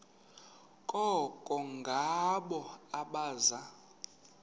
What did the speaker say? koko ngabo abaza